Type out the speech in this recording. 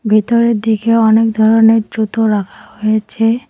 ভেতরের দিকে অনেক ধরনের জুতো রাখা হয়েছে।